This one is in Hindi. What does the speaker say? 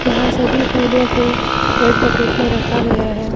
यहां सभी फूलों को रेड बकेट में रखा गया है।